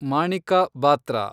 Manika Batra